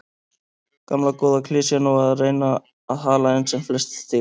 Gamla góða klisjan og að reyna að hala inn sem flest stig.